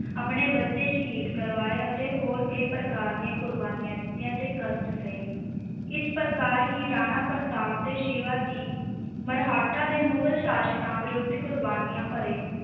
ਆਪਣੇ ਬੱਚੇ ਸ਼ਹੀਦ ਕਰਵਾਏ ਅਤੇ ਹੋਰ ਕਈ ਪ੍ਰਕਾਰ ਦੀਆਂ ਕੁਰਬਾਨੀਆਂ ਦਿੱਤੀਆਂ ਤੇ ਕਸ਼ਟ ਸਹੇ, ਇਸ ਪ੍ਰਕਾਰ ਹੀ ਰਾਣਾ ਪ੍ਰਤਾਪ ਤੇ ਸ਼ਿਵਾ ਜੀ ਮਰਹੱਟਾ ਦੇ ਮੁਗ਼ਲ ਸ਼ਾਸਕਾਂ ਵਿਰੁੱਧ ਕੁਰਬਾਨੀਆਂ ਭਰੇ